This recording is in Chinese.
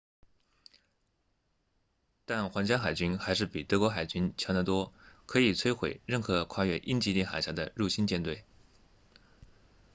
但皇家海军还是比德国海军 kriegsmarine” 强得多可以摧毁任何跨越英吉利海峡的入侵舰队